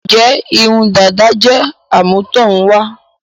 Ǹjẹ́ irun dàda jẹ́ àmútọ̀runwá?